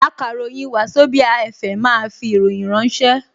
Akàròyìn Wazobia FM máa fi ìròyìn ránṣẹ́